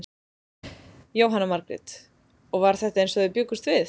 Jóhanna Margrét: Og var þetta eins og þið bjuggust við?